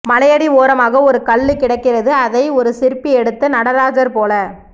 மலையடி ஓரமாக ஒரு கல்லு கிடக்கிறது அதை ஒரு சிற்பி எடுத்து நடராஜர் போல